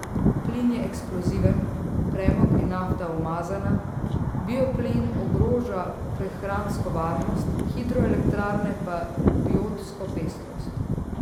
Plin je eksploziven, premog in nafta umazana, bioplin ogroža prehransko varnost, hidroelektrarne pa biotsko pestrost.